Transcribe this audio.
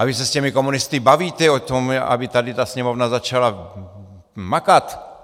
A vy se s těmi komunisty bavíte o tom, aby tady ta Sněmovna začala makat.